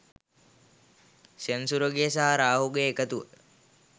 සෙනසුරුගේ සහ රාහුගේ එකතුව